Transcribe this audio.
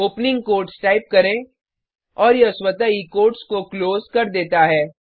opening quotes type करें और यह स्वतः ही कोट्स को क्लोज कर देता है